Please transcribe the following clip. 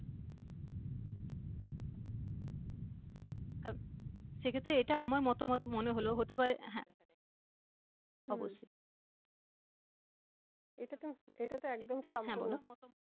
কারণ সেক্ষেত্রে এটা আমার মতামত মনে হলো হতে পারে হ্যা অবশ্যই হম এটাতো এটাতো একদম হ্যা বলো